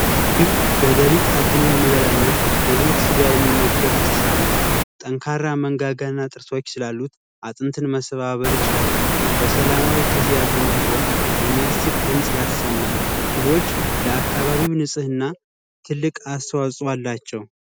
ጅብ በሌልት አድኖ የሚበላ እና የሙት ስጋ የሚመገብ እንስሳት ነው። ጠንካራ መረጋጋት እና ጥርሶች ስላሉት አጥንት መሰባበር ይችላል። በሰላማዊ ጊዚያትም ቢሆን የሚያስቅ ድምፅ ያሰማል። ጅቦች ለአካባቢም ንፅህና ትልቅ አስተዋጽኦ አላቸው።